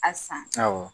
A san awɔ